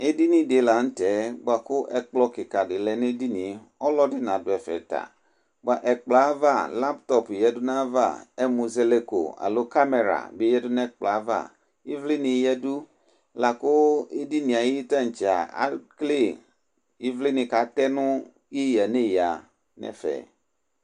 edini di lantɛ boa kò ɛkplɔ keka di lɛ n'edinie ɔlò ɛdi na du ɛfɛ ta boa ɛkplɔɛ ava laptɔp ya du n'ava ɛmuzɛlɛkò alo kamɛra bi ya du n'ɛkplɔɛ ava ivli ni ya du la kò edinie ayi tantsɛ a ekele ivli ni k'atɛ no eya n'eya no ɛfɛ.